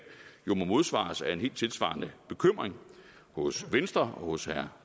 jo må modsvares af en helt tilsvarende bekymring hos venstre og hos herre